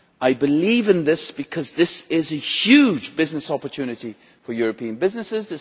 I believe in this because it is a huge business opportunity for European businesses.